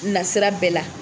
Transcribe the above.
Na sira bɛɛ la.